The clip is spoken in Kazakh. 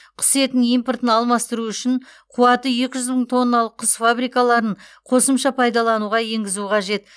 құс етінің импортын алмастыру үшін қуаты екі жүз мың тонналық құс фабрикаларын қосымша пайдалануға енгізу қажет